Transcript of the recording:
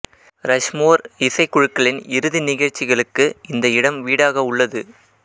Rushmore இசை குழுக்களின் இறுதி நிகழ்ச்சிகளுக்கு இந்த இடம் வீடாக உள்ளது